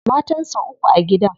Matan sa uku a gidan.